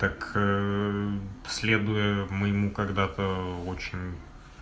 так следуя моему когда-то очень